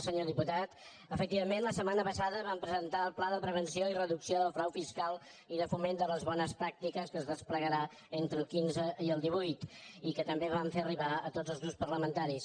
senyor diputat efectivament la setmana passada vam presentar el pla de prevenció i reducció del frau fiscal i de foment de les bones pràctiques que es desplegarà entre el quinze i el divuit i que també vam fer arribar a tots els grups parlamentaris